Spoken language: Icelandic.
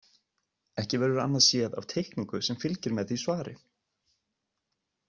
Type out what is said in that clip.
Ekki verður annað séð af teikningu sem fylgir með því svari.